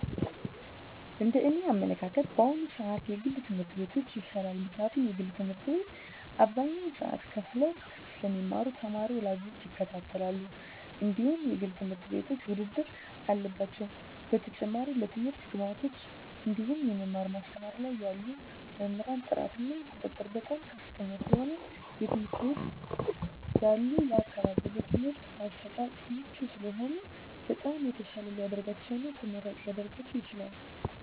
እንደ እኔ አመለካከት በአሁኑ ስዓት የግል ትምህርት ቤቶች ይሻላል ምክንያቱም የግል ትምህርት ቤት አብዛኞቹ ሰዎች ከፈለው ስለሚማሩ ተማሪ ወላጆች ይከታተላሉ እንድሁም የግል ትምህርት ቤቶች ውድድር አለባቸው በተጨማሪም ለትምህርት ግብዓቶች እንድሁም የመማር ማስተማር ላይ ያሉ መምህራን ጥራት እና ቁጥጥር በጣም ከፍተኛ ስለሆነ የትምህርት ቤት ያሉ አካባቢው ለትምህርት አሰጣጥ ምቹ ስለሚሆኑ በጣም የተሻለ ሊደርጋቸው እና ተመራጭ ሊረጋቸው ይችላል።